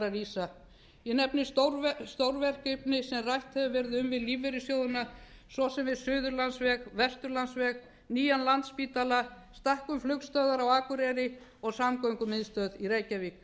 rísa ég nefni stórverkefni sem rætt hefur verið um við lífeyrissjóðina svo sem við suðurlandsveg vesturlandsveg nýjan landspítala stækkun flugstöðvar á akureyri og samgöngumiðstöð í reykjavík